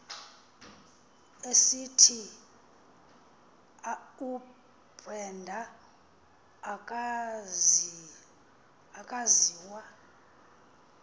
esithi ubrenda akaziwa